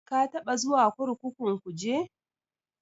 Ka taɓa zuwa kurkukun Kuje?